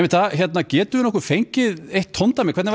getum við fengið tóndæmi hvernig væri